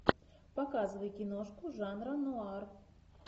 показывай киношку жанра нуар